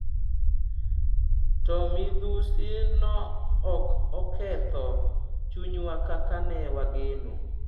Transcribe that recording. To midhusi no ok oketho chunywa kaka ne wageno.